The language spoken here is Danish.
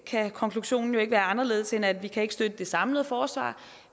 kan konklusionen jo ikke være anderledes end at vi ikke kan støtte det samlede forslag